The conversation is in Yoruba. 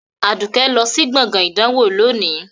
Aduke lọ sí gbọ̀ngàn ìdánwò lónìí